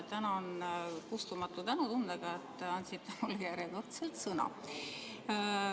Tänan kustumatu tänutundega, et te andsite mulle järjekordselt sõna.